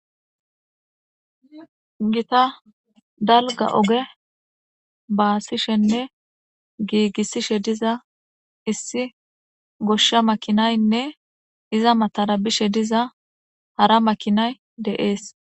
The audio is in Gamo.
Gita dalga oge baasishenne giigissishe diza issi goshsha makinaynne iza matara bishe diza hara makinay deees.